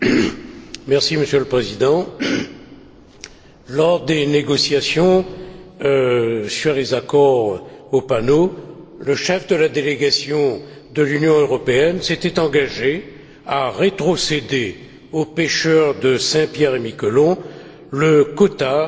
Monsieur le Président, lors des négociations sur les accords OPANO, le chef de la délégation de l'Union européenne s'était engagé à rétrocéder aux pêcheurs de Saint Pierre et Miquelon le quota français